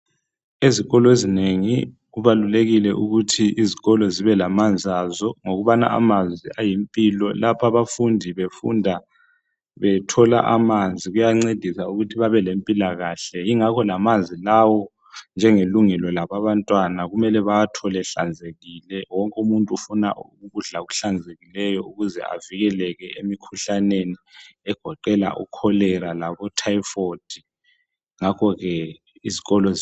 Ezikolo ezinengi kubalulekile ukuthi izikolo zibelamanzi azo ngokubana amanzi ayimpilo, lapha abafundi befunda bethola amanzi kuyancedisa ukuthi bebelempilakahle njalo lawamanzi kufanele abe ngahlanzekileyo ukuze bavikeleke emikhuhlaneni egoqela icholera letyphoid.